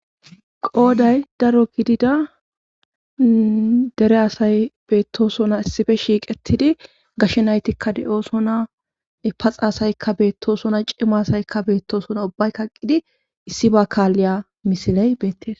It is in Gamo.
qooday daro gidida dere asay beettosona issife shiiqettidi gashshe naytikka de7oosonapaxa asaykka beettoosona cima asaykka beettoosona ubbay kaqqidi issi ba kaalliya misiley beettes